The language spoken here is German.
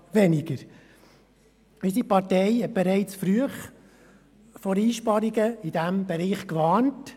Unsere Partei hat bereits früh vor Einsparungen in diesem Bereich gewarnt.